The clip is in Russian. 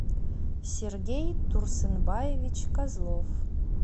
сергей турсынбаевич козлов